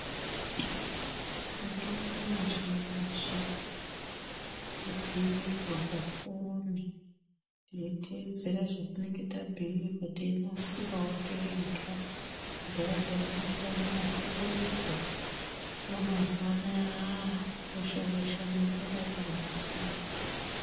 Mutombo mizhinji kubhiirwa pafoni teyitedzera zvatinenge tabhuyirwa teinasirawo tega kudhaya taimirira kunasirirwa hino mazuwano aah -aah weshe weshe unokona kuunasira